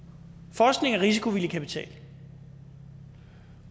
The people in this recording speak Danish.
forskning er risikovillig kapital